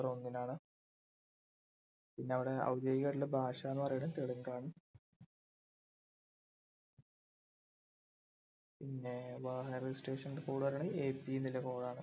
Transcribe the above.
ഒന്നിനാണ് പിന്നെ അവിടെ ഔദ്യോഗികായിട്ടുള്ള ഭാഷ എന്ന് പറയുന്നത് തെലുങ്ക് ആണ് പിന്നെ വാഹന registration code AP എന്ന code ആണ്